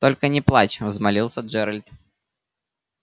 только не плачь взмолился джералд